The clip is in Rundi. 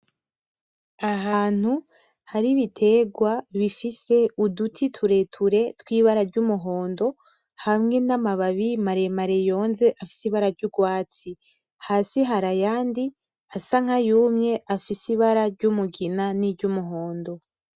Ahantu hari ibiterwa bifise uduti tureture tw'ibara ry'umuhondo hamwe n'amababi maremare yonze afise ibara ry'urwatsi, hasi hari ayandi asa nkayumye afise ibara ry'umugina n'iryumuhondo.